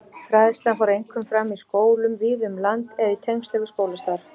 Fræðslan fór einkum fram í skólum víða um land eða í tengslum við skólastarf.